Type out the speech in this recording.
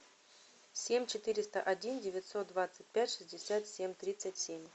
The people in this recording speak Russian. семь четыреста один девятьсот двадцать пять шестьдесят семь тридцать семь